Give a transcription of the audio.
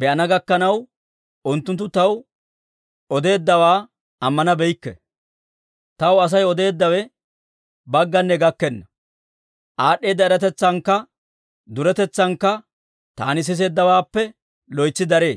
be'ana gakkanaw unttunttu taw odeeddawaa ammanabeykke. Taw Asay odeeddawe bagganne gakkenna; aad'd'eeda eratetsankka duretetsankka taani siseeddawaappe loytsi daree.